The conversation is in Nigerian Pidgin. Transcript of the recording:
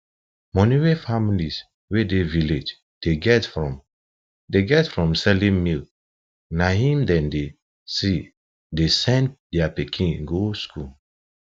money wey families wey dey village dey get from dey get from selling milk na em dem dey se dey send their pikin go school